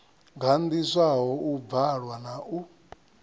gandiswaho u bvalwa na u